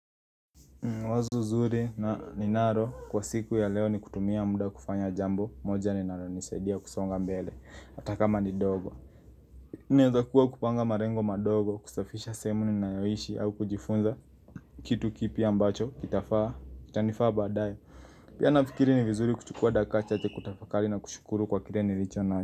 Wazo zuri na ninalo kwa siku ya leo ni kutumia muda kufanya jambo moja ninalo nisadia kusonga mbele atakma ni dogo Ninaeza kuwa kupanga malengo madogo kusafisha sehemu ninayo ishi au kujifunza kitu kipi ambacho kitafaa chanifaa badaye Pia nafikiri ni vizuri kuchukua dakika chache tkutafakali na kushukuru kwa kile nilicho nacho.